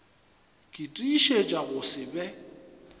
ke tiišetša go se be